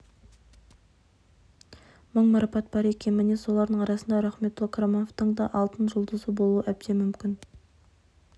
мың марапат бар екен міне солардың арасында рахметолла қарамановтың да алтын жұлдызы болуы әбден мүмкін